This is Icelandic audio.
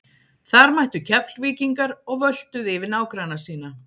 Þar mættu Keflvíkingar og völtuðu yfir nágranna sína.